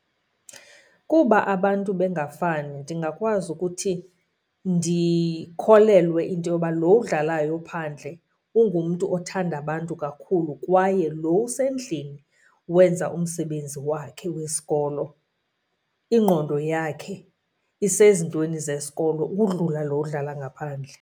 Kuba abantu bengafani ndingakwazi ukuthi ndikholelwe into yoba lo udlalayo phandle ungumntu othanda abantu kakhulu kwaye lo usendlini wenza umsebenzi wakhe wesikolo, ingqondo yakhe isezintweni zesikolo ukudlula lo udlala ngaphandle.